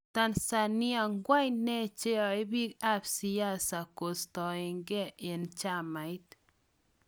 Tanzania:kwang ne chanyae pik ap siasa kustagen en chamait.